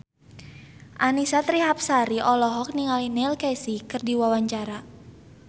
Annisa Trihapsari olohok ningali Neil Casey keur diwawancara